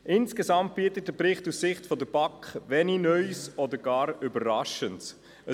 Insgesamt bietet der Bericht aus Sicht der BaK wenig Neues oder gar Überraschendes.